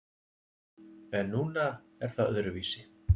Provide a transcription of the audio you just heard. En núna er það öðruvísi.